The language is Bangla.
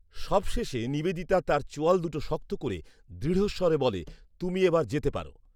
সবশেষে নিবেদিতা তার চোয়াল দুটো শক্ত করে দৃঢ়স্বরে বলে, “তুমি এবার যেতে পারো